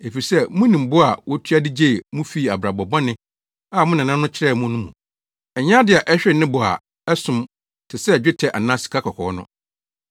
Efisɛ munim bo a wotua de gyee mo fii abrabɔ bɔne a mo nananom kyerɛɛ mo no mu. Ɛnyɛ ade a ɛhwere ne bo a ɛsom te sɛ dwetɛ anaa sikakɔkɔɔ no.